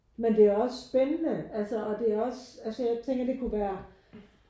Men det er også spændende altså og det er også altså jeg tænker det kunne være